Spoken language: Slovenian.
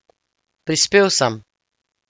Prispel sem!